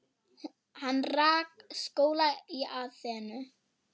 Hann rak skóla í Aþenu.